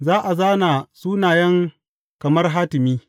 Za a zāna sunayen kamar hatimi.